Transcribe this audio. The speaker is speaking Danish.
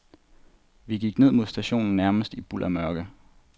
Vi gik ned mod stationen nærmest i buldermørke.